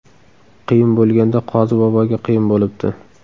Qiyin bo‘lganda qozi boboga qiyin bo‘libdi.